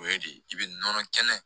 O ye de i bɛ nɔnɔ kɛnɛ